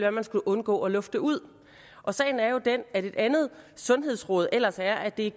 at man skulle undgå at lufte ud sagen er jo den at et andet sundhedsråd ellers er at det i